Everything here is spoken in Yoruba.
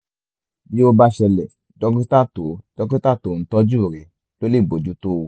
bí ó bá ṣẹlẹ̀ dókítà tó dókítà tó ń tọ́jú rẹ̀ ló lè bójú tó o